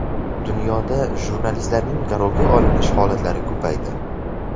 Dunyoda jurnalistlarning garovga olinish holatlari ko‘paydi.